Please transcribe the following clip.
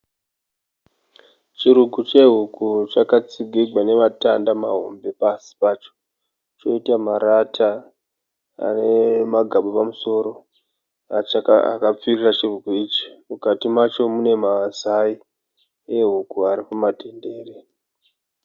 Chirugu chehuku chakatsigirwa nematanda mahombe pasi pacho poita marata ane magaba pamusoro akapfirira chirugu, mukati macho mune mazai ari mumatendere.